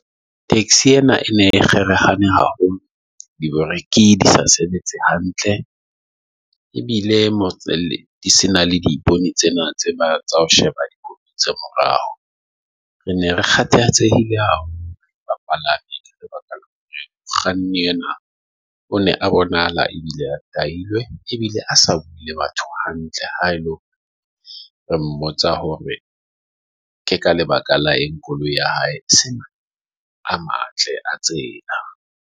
Taxi ena e ne haholo di break, di sa sebetse hantle ebile di se na le dipone tsena tsa morao. Re ne re kgathatsehile ao ba kganni ena o ne a bonahala e bile a tahilwe ebile a sa buile batho hantle haholo. Re mmotsa hore ke ka lebaka la eng koloi ya hae sena a matle a tsela.